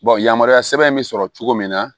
yamaruya sɛbɛn bɛ sɔrɔ cogo min na